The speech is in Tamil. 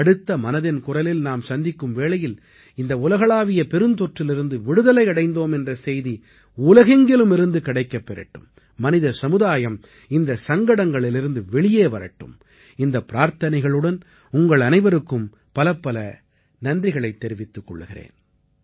அடுத்த மனதின் குரலில் நாம் சந்திக்கும் வேளையில் இந்த உலகளாவிய பெருந்தொற்றிலிருந்து விடுதலை அடைந்தோம் என்ற செய்தி உலகெங்கிலுமிருந்து கிடைக்கப்பெறட்டும் மனித சமுதாயம் இந்தச் சங்கடங்களிலிருந்து வெளியே வரட்டும் இந்தப் பிரார்த்தனைகளுடன் உங்கள் அனைவருக்கும் பலப்பல நன்றிகளைத் தெரிவித்துக் கொள்கிறேன்